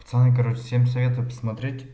пацаны короче всем советую посмотреть